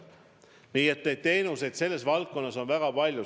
Nii et teenuseid selles valdkonnas on väga palju.